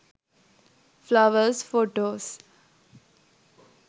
flowers photos